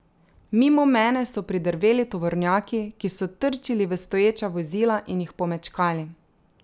Mimo mene so pridrveli tovornjaki, ki so trčili v stoječa vozila in jih pomečkali.